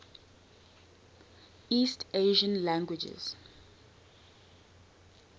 east asian languages